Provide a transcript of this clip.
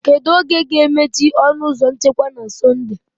Kedu oge ga-emechi ọnụ ụzọ nchekwa na Sọnde?